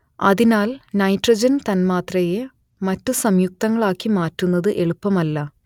അതിനാൽ നൈട്രജൻ തന്മാത്രയെ മറ്റു സംയുക്തങ്ങളാക്കി മാറ്റുന്നത് എളുപ്പമല്ല